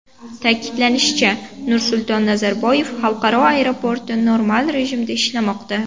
Ta’kidlanishicha, Nursulton Nazarboyev xalqaro aeroporti normal rejimda ishlamoqda.